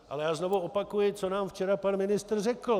Ale já znovu opakuji, co nám včera pan ministr řekl.